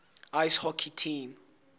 ice hockey team